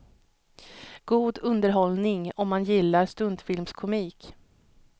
God underhållning om man gillar stumfilmskomik.